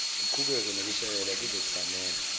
uqhubeke nokushayela kuzokufanela